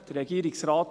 Regierungsrat